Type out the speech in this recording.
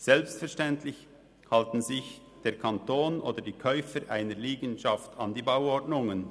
Selbstverständlich halten sich der Kanton oder die Käufer einer Liegenschaft an die Bauordnungen.